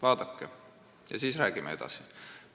Vaadake seal ringi, ja siis räägime edasi!